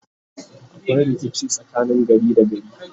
akwai rikici tsakanin gari da gari